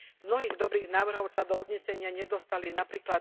Z mnohých dobrých návrhov sa do uznesenia nedostali napr.